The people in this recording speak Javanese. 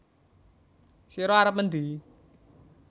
Sira arep mendhi